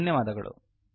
ಧನ್ಯವಾದಗಳು|